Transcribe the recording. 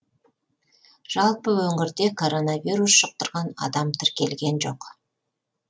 жалпы өңірде коронавирус жұқтырған адам тіркелген жоқ